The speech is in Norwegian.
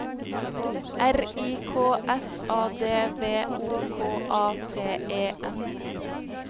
R I K S A D V O K A T E N